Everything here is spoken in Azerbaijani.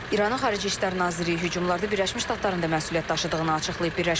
İranın Xarici İşlər Naziri hücumlarda Birləşmiş Ştatların da məsuliyyət daşıdığını açıqlayıb.